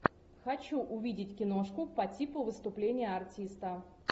хочу увидеть киношку по типу выступление артиста